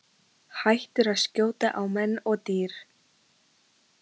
Hættir að skjóta á menn og dýr.